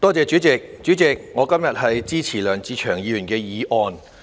代理主席，我今天支持梁志祥議員的議案。